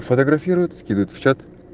фотографирует скидывает в чат